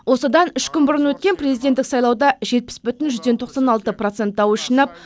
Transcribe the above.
осыдан үш күн бұрын өткен президенттік сайлауда жетпіс бүтін жүзден тоқсан алты процент дауыс жинап